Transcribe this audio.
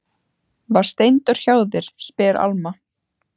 Var Steindór hjá þér, spyr Alma.